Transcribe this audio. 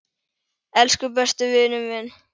Elsku besti vinur minn.